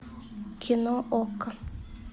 кино окко